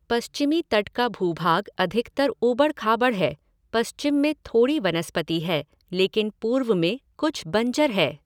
पश्चिमी तट का भूभाग अधिकतर ऊबड़ खाबड़ है, पश्चिम में थोड़ी वनस्पति है, लेकिन पूर्व में कुछ बंजर है।